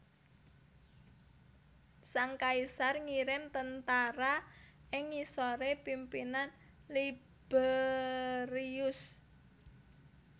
Sang kaisar ngirim tentara ing ngisoré pimpinan Liberius